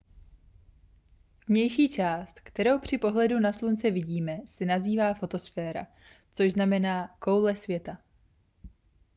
vnější část kterou při pohledu na slunce vidíme se nazývá fotosféra což znamená koule světla